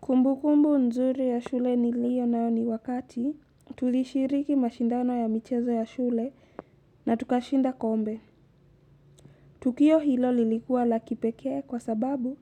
Kumbukumbu nzuri ya shule niliyo nayo ni wakati tulishiriki mashindano ya michezo ya shule na tukashinda kombe. Tukio hilo lilikua lakipekee kwa sababu